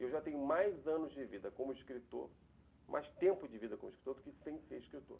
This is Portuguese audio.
E eu já tenho mais anos de vida como escritor, mais tempo de vida como escritor, do que sem ser escritor.